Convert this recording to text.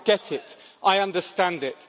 I get it, I understand it.